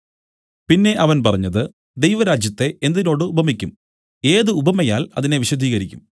പിന്നെ അവൻ പറഞ്ഞത് ദൈവരാജ്യത്തെ എന്തിനോട് ഉപമിക്കും ഏത് ഉപമയാൽ അതിനെ വിശദീകരിക്കും